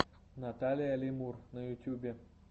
наталия лемур на ютьюбе